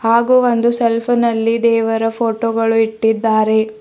ಹಾಗು ಒಂದು ಸೆಲ್ಫ ನಲ್ಲಿ ದೇವರ ಫೋಟೋ ಗಳು ಇಟ್ಟಿದ್ದಾರೆ.